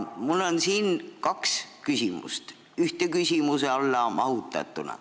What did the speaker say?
Mul on kaks küsimust ühe küsimuse alla mahutatuna.